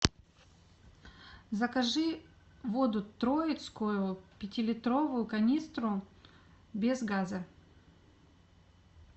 закажи воду троицкую пятилитровую канистру без газа